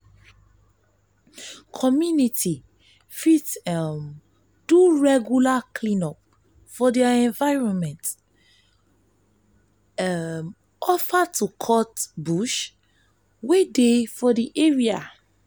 community fit um do regular clean-up of their environment um offer to cut bush wey dey for di um area